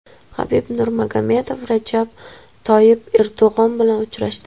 Habib Nurmagomedov Rajab Toyyib Erdo‘g‘on bilan uchrashdi.